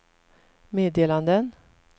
meddelanden